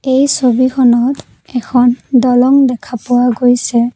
এই ছবিখনত এখন দলং দেখা পোৱা গৈছে।